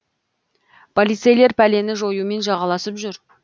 полицейлер пәлені жоюмен жағаласып жүр